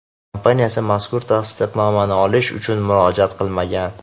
kompaniyasi mazkur tasdiqnomani olish uchun murojaat qilmagan.